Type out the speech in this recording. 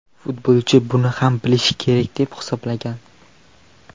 Futbolchi buni hamma bilishi kerak deb hisoblagan.